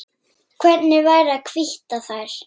Hvernig væri að hvítta þær?